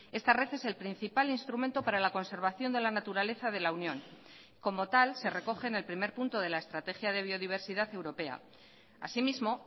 esta red es el principal instrumento para la conservación de la naturaleza de la unión como tal se recoge en el primer punto de la estrategia de biodiversidad europea asimismo